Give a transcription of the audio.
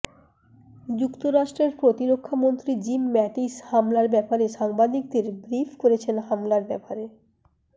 যুক্তরাষ্ট্রের প্রতিরক্ষা মন্ত্রী জিম মাটিস হামলার ব্যাপারে সাংবাদিকদের ব্রিফ করছেন হামলার ব্যাপারে